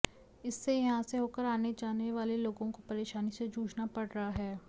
इससे यहां से होकर आने जाने वाले लोगों को परेशानी से जूझना पड़ रहा है